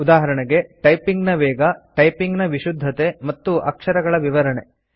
ಉದಾಹರಣೆಗೆ ಟೈಪಿಂಗ್ ನ ವೇಗ ಟೈಪಿಂಗ್ ನ ವಿಶುದ್ಧತೆ ಮತ್ತು ಅಕ್ಷರಗಳ ವಿವರಣೆ